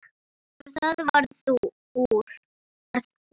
Og það varð úr.